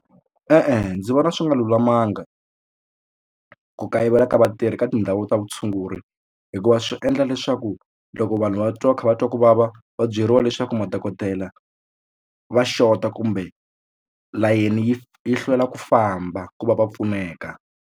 E-e ndzi vona swi nga lulamanga ku kayivela ka vatirhi ka tindhawu ta vutshunguri hikuva swi endla leswaku loko vanhu va twa va kha va twa kuvava va byeriwa leswaku madokodela va xota kumbe layeni yi yi hlwela ku famba ku va va pfuneka.